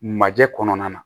Majɛ kɔnɔna na